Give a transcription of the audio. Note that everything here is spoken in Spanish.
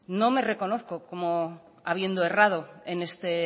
no me reconozco como habiendo errado en este